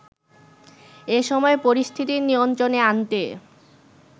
এসময় পরিস্থিতি নিয়ন্ত্রণে আনতে